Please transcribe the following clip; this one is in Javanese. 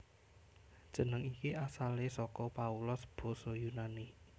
Jeneng iki asalé saka Paulos basa Yunani